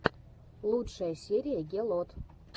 лучшая серия гелот